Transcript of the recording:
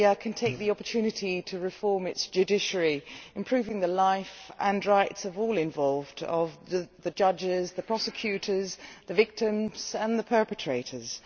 Serbia can take the opportunity to reform its judiciary, improving the life and rights of all involved the judges, the prosecutors, the victims and the perpetrators.